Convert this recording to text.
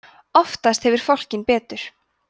oftast hefur fálkinn betur